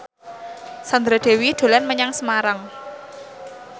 Sandra Dewi dolan menyang Semarang